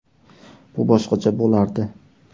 Bu boshqacha bo‘lardi.